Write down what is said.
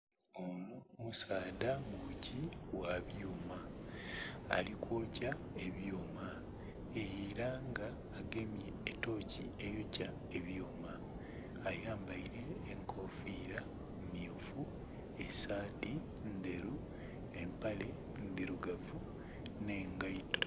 Omusaadha mwoki gha byuma ali kwokya ebyuuma, era nga agemye etooki eyokya ebyuuma ayambaile enkofiira myufu esaati ndheru empale ndhirugavu nh'engaito.